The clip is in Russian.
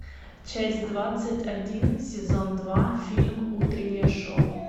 часть двадцать один сезон два фильм утреннее шоу